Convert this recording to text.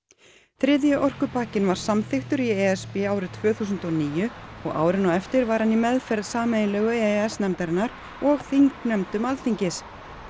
þriðji orkupakkinn var samþykktur í e s b árið tvö þúsund og níu og árin á eftir var hann í meðferð sameiginlegu e e s nefndarinnar og þingnefndum Alþingis